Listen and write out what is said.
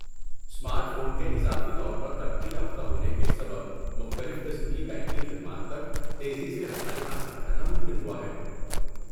Smart phone کے اضافی طور پر ترقی یافتہ ہونے کے سبب، مختلف قسم کی بینکنگ خدمات تک تیزی سے رسائی حاصل کرنا ممکن ہوا ہے۔